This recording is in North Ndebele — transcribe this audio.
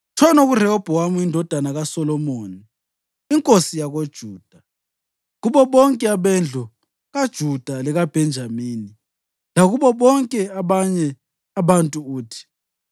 “Tshono kuRehobhowami indodana kaSolomoni inkosi yakoJuda, kubo bonke abendlu kaJuda lekaBhenjamini, lakubo bonke abanye abantu uthi,